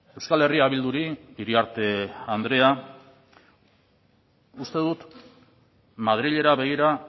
euskal herria bilduri iriarte andrea uste dut madrilera begira